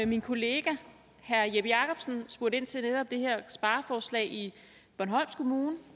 min kollega herre jeppe jakobsen spurgte ind til netop det her spareforslag i bornholms kommune